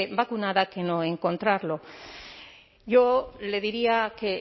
vacunada que no encontrarlo yo le diría que